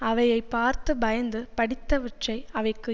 அவையைப் பார்த்து பயந்து படித்தவற்றை அவைக்கு